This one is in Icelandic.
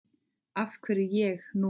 Af hverju ég núna?